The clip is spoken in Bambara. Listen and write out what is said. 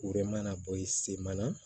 O de mana bɔ i sen mana